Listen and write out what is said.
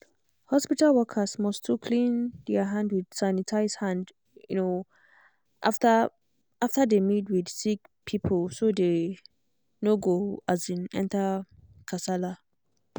hospital workers must too clean their hand with sanitize hand um after after dey meet with sick people so dey no go um enter kasala. um